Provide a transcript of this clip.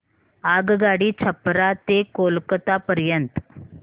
आगगाडी छपरा ते कोलकता पर्यंत